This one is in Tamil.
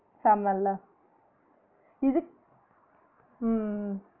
செமல இதுக் உம் உம் உம்